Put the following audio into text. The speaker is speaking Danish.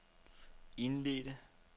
indledte